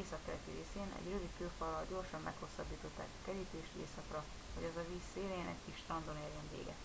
északkeleti részén egy rövid kőfallal gyorsan meghosszabbították a kerítést északra hogy az a víz szélén egy kis strandon érjen véget